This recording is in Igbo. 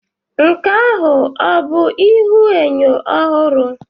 Nke ahụ ọ bụ ihuenyo ọhụrụ?